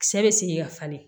Kisɛ bɛ segin ka falen